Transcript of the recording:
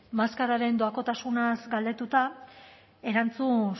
maskaren doakotasunaz galdetuta erantzun